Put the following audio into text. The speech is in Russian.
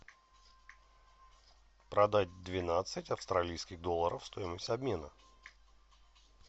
продать двенадцать австралийских долларов стоимость обмена